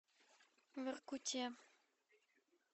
воркуте